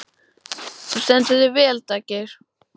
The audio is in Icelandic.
Þú stendur þig vel, Daggeir!